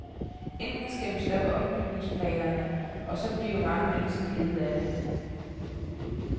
Enten skal vi stoppe ombygningsplanerne, og så bliver mange mennesker kede af det.